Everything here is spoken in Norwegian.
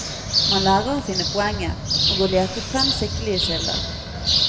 Man lærer å finne poenget, og å lete frem skikkelige kilder.